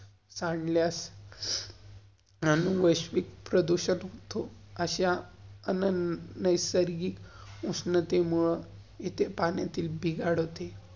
सांद्ल्यास, अनुवाश्विक प्रदुषण होतो. अश्या अनन नैसर्गिक उश्नतेमुळं इथे पाण्यातील बिघाड होते.